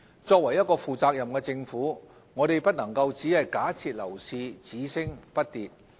作為一個負責任的政府，我們不能夠只假設樓市只升不跌。